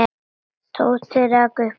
Tóti rak upp gól.